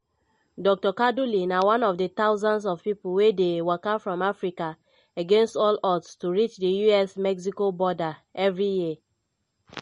dr kaduli na one of di thousands of pipo wey dey waka from africa against all odds to reach di us-mexico border evri year.